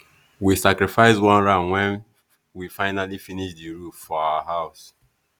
we sacrifice one ram when we finally finish the roof for our house.